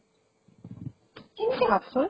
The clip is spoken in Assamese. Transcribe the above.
কেনেকে ভাবচোন।